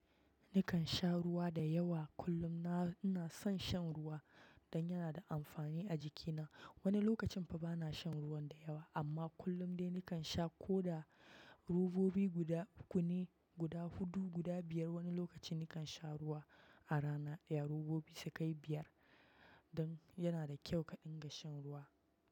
Nikan sha ruwa da yawa kullum. Na ina san shan ruwa dan yana da smrani a jiki na wani lokacin fa bana shan ruwan da yawa, amma kullum dai nikan sha ko da robobi guda uku ne guda hudu, guda biyar. Wani lokacin nikan sha ruwa a rana ɗaya robobi su kai biyar don yana da kyau ka ɗinga shan ruwa.